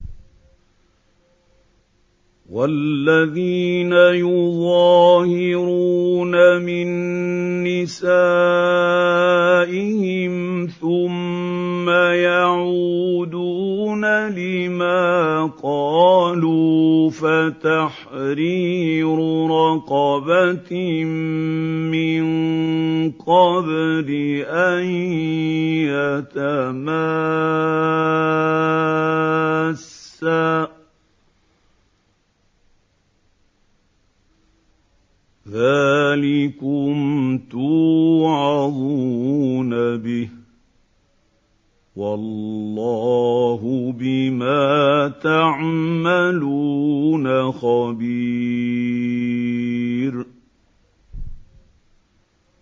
وَالَّذِينَ يُظَاهِرُونَ مِن نِّسَائِهِمْ ثُمَّ يَعُودُونَ لِمَا قَالُوا فَتَحْرِيرُ رَقَبَةٍ مِّن قَبْلِ أَن يَتَمَاسَّا ۚ ذَٰلِكُمْ تُوعَظُونَ بِهِ ۚ وَاللَّهُ بِمَا تَعْمَلُونَ خَبِيرٌ